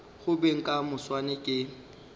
go beng ka moswane ke